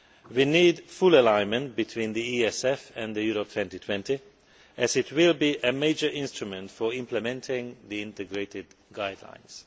We need full alignment between the ESF and Europe 2020 as it will be a major instrument for implementing the integrated guidelines.